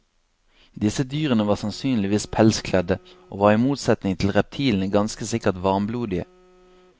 Disse dyrene var sannsynligvis pelskledte, og var i motsetning til reptilene ganske sikkert varmblodige.